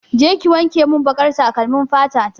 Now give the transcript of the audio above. Je ki wankemin baƙar takalmin fata ta!